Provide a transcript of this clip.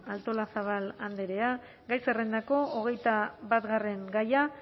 artolazabal andrea gai zerrendako hogeita batgarren gaia